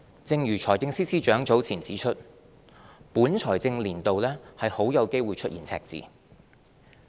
正如財政司司長早前指出，本財政年度很有機會出現赤字。